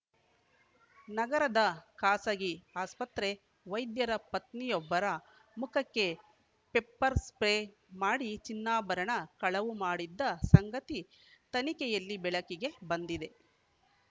ನಗರದ ಖಾಸಗಿ ಆಸ್ಪತ್ರೆ ವೈದ್ಯರ ಪತ್ನಿಯೊಬ್ಬರ ಮುಖಕ್ಕೆ ಪೆಪ್ಪರ್‌ ಸ್ಪ್ರೇ ಮಾಡಿ ಚಿನ್ನಾಭರಣ ಕಳವು ಮಾಡಿದ್ದ ಸಂಗತಿ ತನಿಖೆಯಲ್ಲಿ ಬೆಳಕಿಗೆ ಬಂದಿದೆ